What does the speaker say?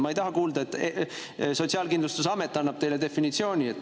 Ma ei taha kuulda, et Sotsiaalkindlustusamet annab teile definitsiooni.